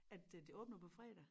At øh det åbner på fredag